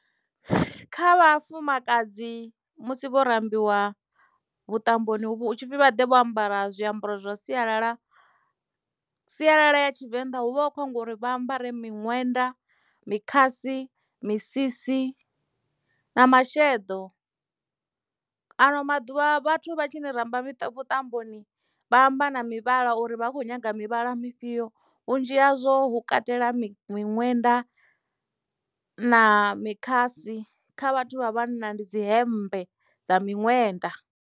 Kha vhafumakadzi musi vho rambiwa vhuṱamboni hutshipfi vhaḓe vho ambara zwiambaro zwa sialala, sialala ya tshivenḓa hu vha hu khou ambiwa uri vha ambare miṅwenda, mukhasi, misisi na masheḓo ano maḓuvha vhathu vha tshini ramba vhuṱamboni vha amba na mivhala uri vha kho nyaga mivhala mufhio vhunzhi hazwo hu katela miṅwenda na mikhasi kha vhathu vha vhanna ndi dzi hembe dza miṅwenda.